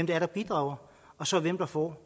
det er der bidrager og så hvem der får